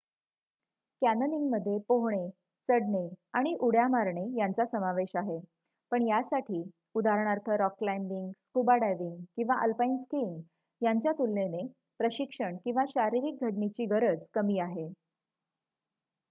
कॅन्यनिंगमध्ये पोहणे चढणे आणि उड्या मारणे यांचा समावेश आहे -- पण यासाठी उदाहरणार्थ रॉक क्लायंबिंग स्कूबा डायव्हिंग किंवा आलपाईन स्किंग यांच्या तुलनेने प्रशिक्षण किंवा शारीरिक घडणीची गरज कमी आहे